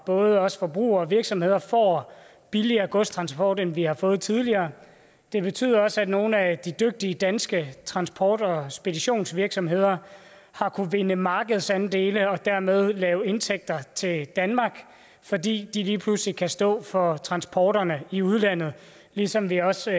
både os forbrugere og virksomheder får billigere godstransport end vi har fået tidligere det betyder også at nogle af de dygtige danske transport og speditionsvirksomheder har kunnet vinde markedsandele og dermed lave indtægter til danmark fordi de lige pludselig kan stå for transporterne i udlandet ligesom vi også